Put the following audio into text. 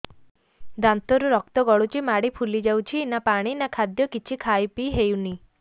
ଦାନ୍ତ ରୁ ରକ୍ତ ଗଳୁଛି ମାଢି ଫୁଲି ଯାଉଛି ନା ପାଣି ନା ଖାଦ୍ୟ କିଛି ଖାଇ ପିଇ ହେଉନି